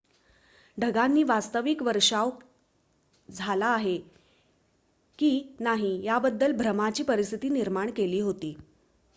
ढगांनी वास्तविक वर्षाव झाला आहे की नाही याबद्दल भ्रमाची परिस्थिती निर्माण केली होती